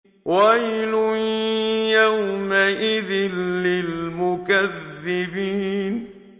وَيْلٌ يَوْمَئِذٍ لِّلْمُكَذِّبِينَ